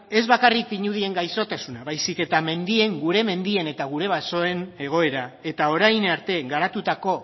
ez bakarrik pinudien gaixotasuna baizik eta gure mendien eta gure basoen egoera eta orain arte garatutako